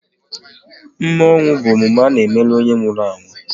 Mme ọnwụ bụ emume a n'emelu onye nwụrụ anwụ